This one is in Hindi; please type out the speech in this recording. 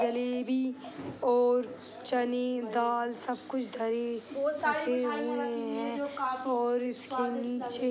जलेबी और चने दाल सब कुछ धरे सखे हुए हैं और इसके नीचे --